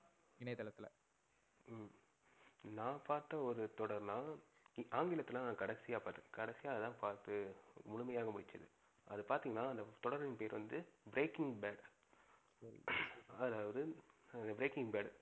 நா பாத்த ஒரு தொடர்னா ஆங்கிலத்துல கட கடைசியா நா அதான் பாத்து முழுமையாக முடிச்சது. அது பாத்திங்கனா அந்த தொடரின் பெயர் வந்து Breaking Bad அதாவது Breaking Bad